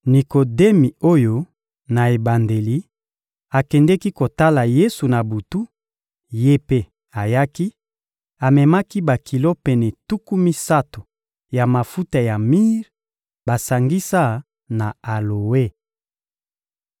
Nikodemi oyo, na ebandeli, akendeki kotala Yesu na butu, ye mpe ayaki; amemaki bakilo pene tuku misato ya mafuta ya mire basangisa na aloe.